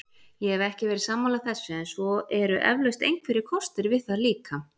Ég hef ekki verið sammála þessu en svo eru eflaust einhverjir kostir við það líka.